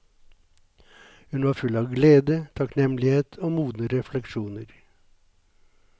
Hun var full av glede, takknemlighet og modne refleksjoner.